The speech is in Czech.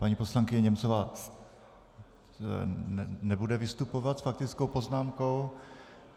Paní poslankyně Němcová nebude vystupovat s faktickou poznámkou.